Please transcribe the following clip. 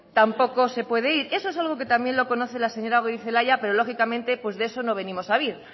tampoco se puede ir eso es algo que también lo conoce la señora goirizelaia pero lógicamente pues de eso